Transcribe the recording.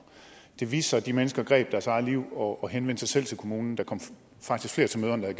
det viste sig at de mennesker greb deres eget liv og henvendte sig selv til kommunen der kom faktisk flere til møderne end